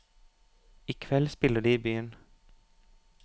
I kveld spiller de i byen.